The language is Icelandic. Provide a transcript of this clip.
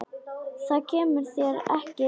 Það kemur þér ekki við.